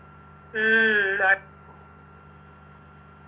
ഉം അഹ്